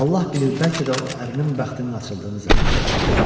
Allah bilir, bəlkə də o ərinin bəxtinin açıldığını zənn etmişdi.